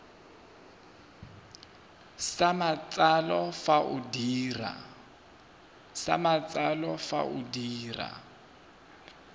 sa matsalo fa o dira